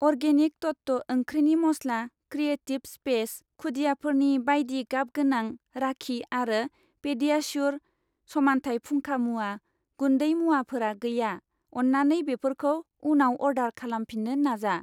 Organic तत्व ओंख्रिनि मस्ला, क्रियेटिब स्पेस खुदियाफोरनि बायदि गाबगोनां राखि आरो पेडियाश्युर समानथाय फुंखा मुवा गुन्दै मुवाफोरा गैया, अन्नानै बेफोरखौ उनाव अर्डार खालामफिन्नो नाजा।